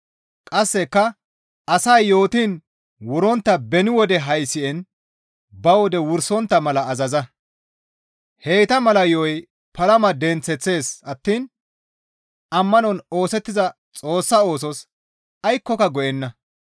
Qasseka asay yootiin wurontta beni wode haysi7en ba wode wursontta mala azaza; heyta mala yo7oy palama denththeththees attiin ammanon oosettiza Xoossa oosos aykkoka go7enna.